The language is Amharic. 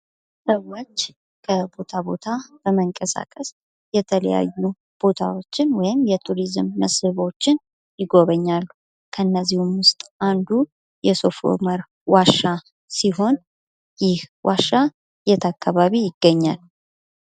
ሰዎች ከቦታ ቦታ በመንቀሳቀስ የተለያዩ ቦታዎችን ወይም የቱሪዝም መስኅቦችን ይጎበኛሉ ። ከእነዚህም ውስጥ አንዱ የሱፍ ኡመር ዋሻ ሲሆን ይህ ዋሻ የት አካባቢ ይገኛል?